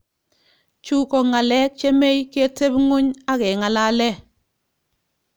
Chu kongalek chemei ketepunguny akengalale.